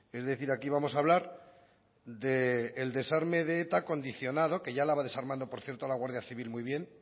es decir aquí vamos a hablar del desarme de eta condicionado que ya la va desarmando por cierto la guardia civil muy bien